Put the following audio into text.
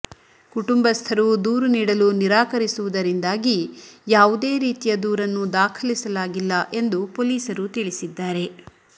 ಕುಟುಂಬಸ್ಥರು ದೂರು ನೀಡಲು ನಿರಾಕರಿಸುವುದರಿಂದಾಗಿ ಯಾವುದೇ ರೀತಿಯ ದೂರನ್ನು ದಾಖಲಿಸಲಾಗಿಲ್ಲ ಎಂದು ಪೊಲೀಸರು ತಿಳಿಸಿದ್ದಾರೆ